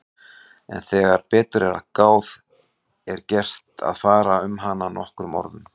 En þegar betur er að gáð er vert að fara um hana nokkrum orðum.